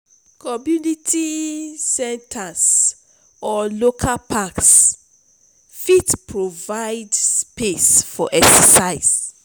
community centers or local parks fit provide space for exercise.